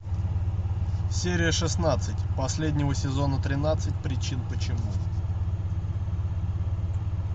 серия шестнадцать последнего сезона тринадцать причин почему